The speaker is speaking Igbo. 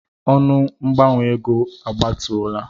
Ọnụ mgbanwe ego a gbatuola.